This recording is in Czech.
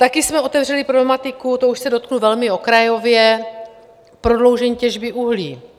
Taky jsme otevřeli problematiku, to už se dotknu velmi okrajově, prodloužení těžby uhlí.